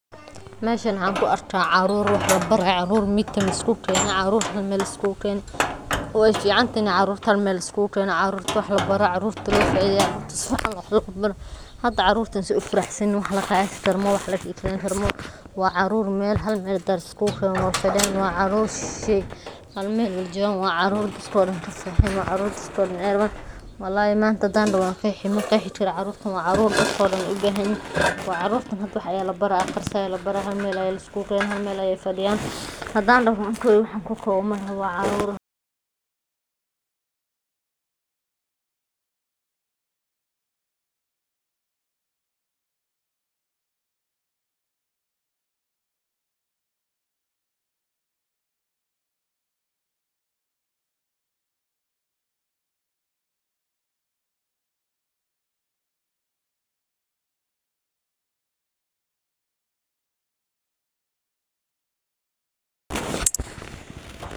Meshan waxa ku arkah carur midka lisku geenay, wayficantahay carur Ina Hal meel liskugu genoh caruurta wax labartoh caruurta wax lo faitheyoh, tusaali hada caruurta setha u faraxsanyahin wax lasheeki karoh maahan wa carur Hal meel hand liskugu genoh halm meel uwaljeedan wa carur maxayraban wallahi manta handanbdahoo waqeexibmaqexi Kari caruurta dadkaboo dhan u bathanyahin wa carur hada wax Aya labarahaya Hal meel Aya liskugu keenayo Hal meel fadiyaan, handa dahoo makowi waxan wacarur .